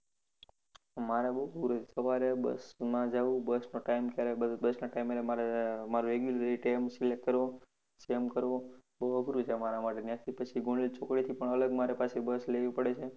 મારે બહુ અઘરું સવારે બસમાં જવું બસનો time ક્યારે બસના time એ અમારે મારુ regular એ time select કરવો same કરવો પડે બહુ અઘરું છે મારા માટે ત્યાંથી પછી ગોર્ચ ચોકડી થી મારે અલગ બસ લેવી પડે છે